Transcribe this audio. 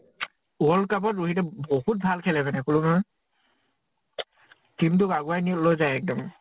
world cup ত ৰহিতে বহুত ভাল খেলে মানে, কলো নহয়। team টোক আগুৱা নি লৈ যায় এক্দম।